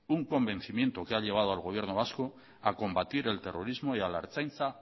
un convencimiento que ha llevado al gobierno vasco a combatir el terrorismo y a la ertzaintza